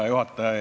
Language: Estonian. Hea juhataja!